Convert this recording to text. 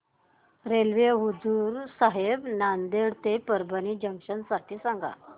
railway Hazur Sahib Nanded ते Parbhani junction साठी सांगा